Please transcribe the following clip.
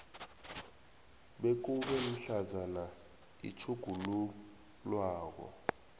bekube mhlazana utjhugululwako